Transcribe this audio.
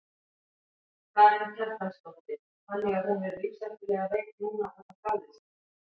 Karen Kjartansdóttir: Þannig að hún er lífshættulega veik núna útaf gáleysi?